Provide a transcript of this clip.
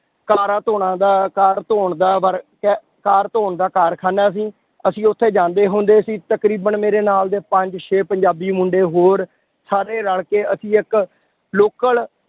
ਕਾਰਾਂ ਧੌਣਾਂ ਦਾ ਕਾਰ ਧੌਣ ਦਾ work ਹੈ, ਕਾਰ ਧੌਣ ਦਾ ਕਾਰਖਾਨਾ ਸੀ, ਅਸੀਂ ਉੱਥੇ ਜਾਂਦੇ ਹੁੰਦੇ ਸੀ ਤਕਰੀਬਨ ਮੇਰੇ ਨਾਲ ਦੇ ਪੰਜ ਛੇ ਪੰਜਾਬੀ ਮੁੰਡੇ ਹੋਰ ਸਾਰੇ ਰਲ ਕੇ ਅਸੀਂ ਇੱਕ local